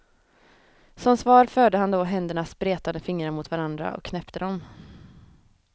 Som svar förde han då händernas spretande fingrar mot varandra och knäppte dem.